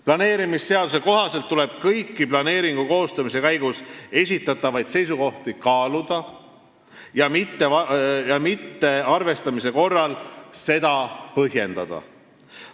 Planeerimisseaduse kohaselt tuleb kõiki planeeringu koostamise käigus esitatavaid seisukohti kaaluda ja mittearvestamist põhjendada.